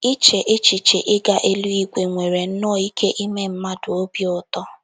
ICHE echiche ịga eluigwe nwere nnọọ ike ime mmadụ obi ụtọ!